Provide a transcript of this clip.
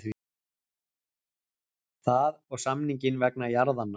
Það og samninginn vegna jarðanna.